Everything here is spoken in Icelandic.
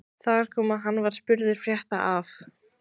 Þar kom að hann var spurður frétta af